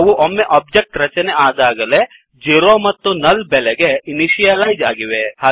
ಅವು ಒಮ್ಮೆ ಒಬ್ಜೆಕ್ಟ್ ರಚನೆ ಆದಾಗಲೇ 0 ಮತ್ತುnull ಬೆಲೆಗೆ ಇನಿಶಿಯಲೈಜ್ ಆಗಿದೆ